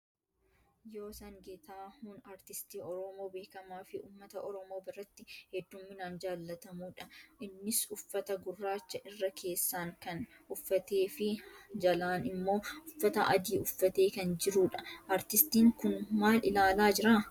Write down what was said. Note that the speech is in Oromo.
Yoosan Geetahuun aartistii Oromoo beekamaa fi uummata Oromoo biratti hedduminaan jaallatamuu dha. Innis uffata gurraacha irra keessaan kan uffatee fi jalaan immoo uffata adii uffatee kan jiruu dha. Aartistiin kun maal ilaalaa jira?